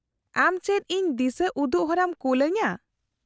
-ᱟᱢ ᱪᱮᱫ ᱤᱧ ᱫᱤᱥᱟᱹ ᱩᱫᱩᱜ ᱦᱚᱨᱟᱢ ᱠᱩᱞ ᱟᱹᱧᱟᱹ ?